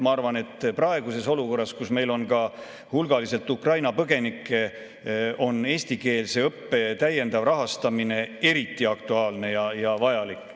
Ma arvan, et praeguses olukorras, kus meil on ka hulgaliselt Ukraina põgenikke, on eestikeelse õppe täiendav rahastamine eriti aktuaalne ja vajalik.